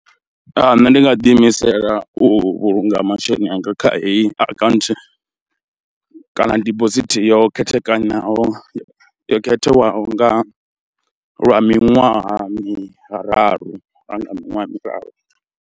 Nṋe ndi nga ḓiimisela u vhulunga masheleni anga kha heyi akhaunthu kana dibosithi yo khethekanaho yo khetheaho nga lwa miṅwaha miraru kana nga miṅwaha miraru.